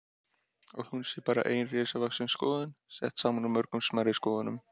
Að hún sé bara ein risavaxin skoðun, sett saman úr mörgum smærri skoðunum.